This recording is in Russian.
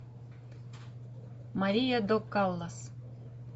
мария до каллас